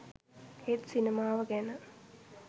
ඒත් සිනමාව ගැන